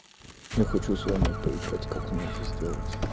я хочу с вами поиграть как мне это сделать